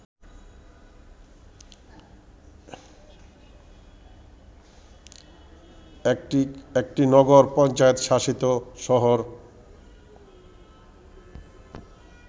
একটি নগর পঞ্চায়েত শাসিত শহর